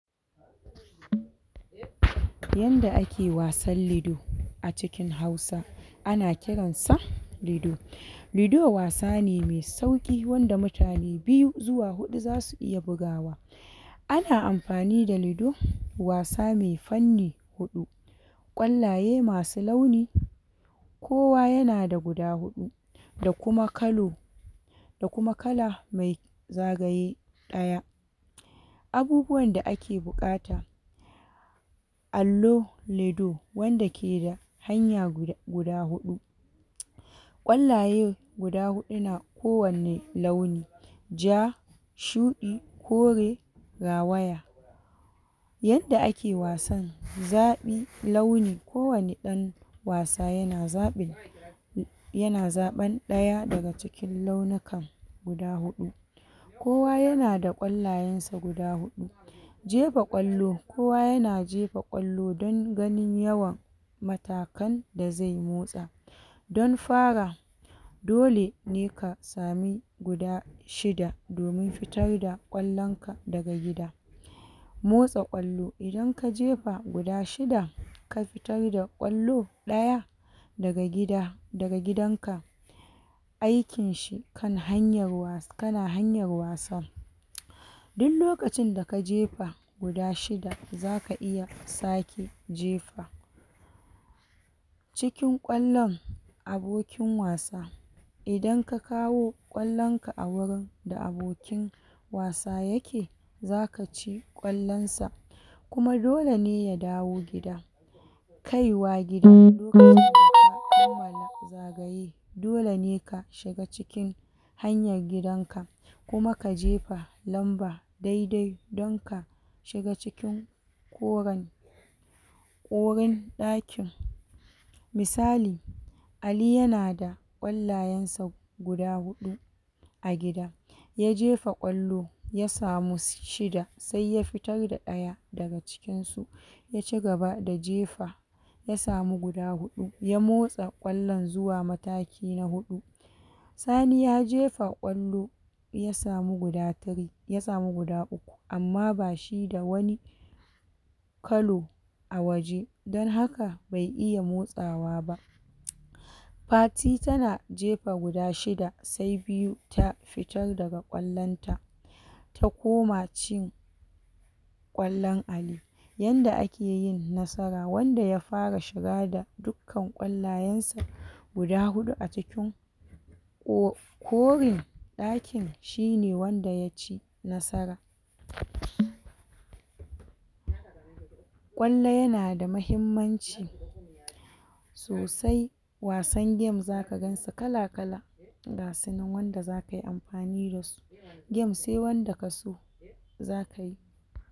Yanda ake wasan lido a cikin Hausa ana kiran sa lido lido wasa ne mai sauƙi wanda mutane biyu zuwa huɗu zasu iya bugawa ana amfani da lido wasa mai fanni huɗu ƙwallaye masu launi kowa yana da guda huɗu da kuma kalo da kuma kala mai zagaye ɗaya abubuwan da ake buƙata allo, lido, wanda ke da hanya guda huɗu ƙwallaye guda huɗu na kowanni launi ja, shuɗi, kore, rawaya yanda ake wasan zaɓi, launi, kowani ɗan wasa yana zaɓi yana zaɓan ɗaya daga cikin launukan guda huɗu kowa yana da ƙwallayen sa guda huɗu jefa ƙwallo, kowa yana jefa ƙwallo dan ganin yawa matakan da zai motsa don fara dole ne ka sami guda shida domin fitar da ƙwallon ka daga gida motsa ƙwallo idan ka jefa guda shida ka fitar da ƙwallo ɗaya daga gida, daga gidan ka aikin shi kan hanyar, kana hanyar wasa duk lokacin da ka jefa guda shida zaka iya sake cikin ƙwallon abokin wasa idan ka kawo ƙwallon ka a wurin da abokin wasa yake, zaka ci ƙwallon sa kuma dole ne ya dawo gida kaiwa gida lokacin da ka gama zagaye dole ne ka shiga cikin hanyar gidan ka kuma ka jega lamba dai-dai don ka shiga cikin koren wurin ɗakin misali Ali yana da ƙwallayen sa guda huɗu a gida ya jefa ƙwallo ya samu shida sai ya fitar da ɗaya daga cikin su ya cigaba da jefa ya samu guda huɗu ya motsa ƙwallon zuwa mataki na biyu Sani ya jefa ƙwallo ya samu guda three, ya samu guda uku amma ba shi da wani kalo a waje dan haka bai iya motsawa ba Fati tana jefa guda shida sai biyu ta fitar daga ƙwallon ta ta koma cin ƙwallon Ali yanda ake yin nasara, wanda ya fara shiga da dukkan ƙwallayen sa guda huɗu a cikin wof korin ɗakin shi ne wanda ya ci nasara ƙwallo yana da mahimmanci sosai wasan game zaka gan su kala-kala gasu nan wanda zaka yi amfani da su game sai wanda kaso zaka yi.